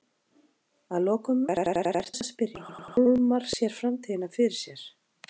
Að lokum er því vert að spyrja hvar Hólmar sér framtíðina fyrir sér?